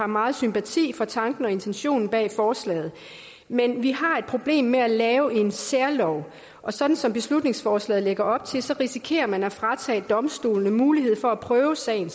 meget sympati for tanken og intentionen bag forslaget men vi har et problem med at lave en særlov og sådan som beslutningsforslaget lægger op til risikerer man at fratage domstolene muligheden for at prøve sagen